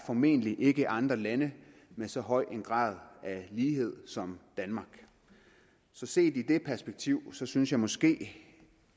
formentlig ikke er andre lande med så høj en grad af lighed som danmark så set i det perspektiv synes jeg måske